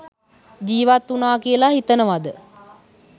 ජීවත්වුණා කියලා හිතනවද?